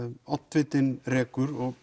oddvitinn rekur